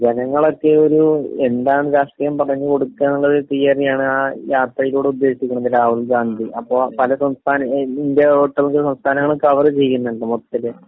അപ്പൊ ജനങ്ങളൊക്കെ ഒരു.... എന്താണ്... രാഷ്ട്രീയം പറഞ്ഞുകൊടുക്കാന്നുള്ള ഒരു തിയറിയാണ് ആ യാത്രയിലൂടെ ഉദ്ദേശിക്കുന്നത് രാഹുൽഗാന്ധി.അപ്പൊ പല സംസഥാന...ഇന്ത്യയിലെ ഒട്ടുമിക്ക സംസ്ഥാനങ്ങളും കവർ ചെയ്യുന്നുണ്ട് മൊത്തത്തില്.